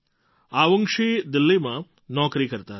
અવુન્ગશી દિલ્લીમાં નોકરી કરતાં હતાં